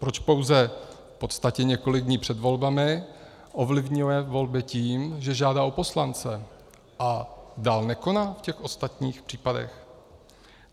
Proč pouze v podstatě několik dní před volbami ovlivňuje volby tím, že žádá o poslance a dál nekoná v těch ostatních případech.